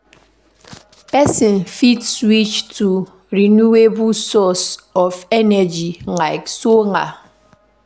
Person fit switch to renewable source of energy like solar